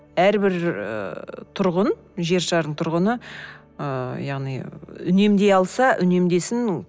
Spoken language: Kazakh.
әрбір і тұрғын жер шарының тұрғыны ыыы яғни үнемдей алса үнемдесін